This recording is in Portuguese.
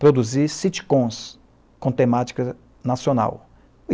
produzir sitcoms com temática nacional.